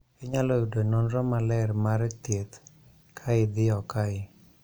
Inyalo yudo nonro maler mar thiedh ka idiyo kae